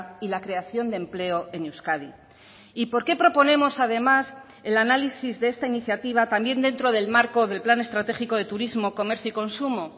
y la creación de empleo en euskadi y por qué proponemos además el análisis de esta iniciativa también dentro del marco del plan estratégico de turismo comercio y consumo